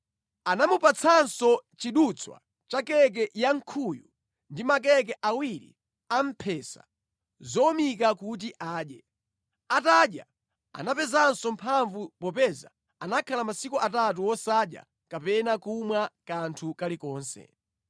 Anamupatsanso chidutswa cha keke yankhuyu ndi makeke awiri a mphesa zowumika kuti adye. Atadya anapezanso mphamvu popeza anakhala masiku atatu wosadya kapena kumwa kanthu kalikonse.